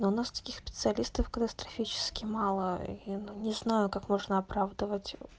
у нас таких специалистов катастрофически мало не знаю как можно оправдывать